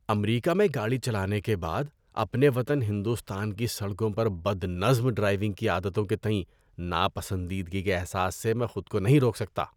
امریکہ میں گاڑی چلانے کے بعد، اپنے وطن ہندوستان کی سڑکوں پر بد نظم ڈرائیونگ کی عادتوں کے تئیں ناپسندیدگی کے احساس سے میں خود کو نہیں روک سکتا۔